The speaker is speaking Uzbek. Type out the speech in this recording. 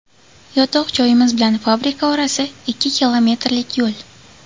Yotoq joyimiz bilan fabrika orasi ikki kilometrlik yo‘l.